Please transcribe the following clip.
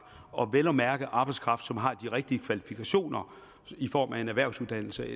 og vel at mærke arbejdskraft som har de rigtige kvalifikationer i form af en erhvervsuddannelse